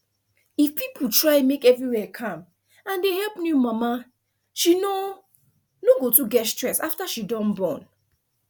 if people try make everywhere calm and dey help new mama she no no go too get stress after she don born